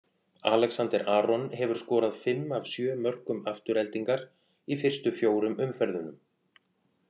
Alexander Aron hefur skorað fimm af sjö mörkum Aftureldingar í fyrstu fjórum umferðunum.